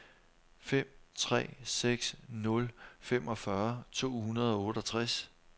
fem tre seks nul femogfyrre to hundrede og otteogtres